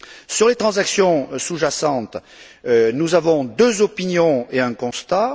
Sur les transactions sous jacentes, nous avons deux opinions et un constat.